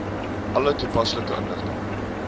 alle toepaslike inligting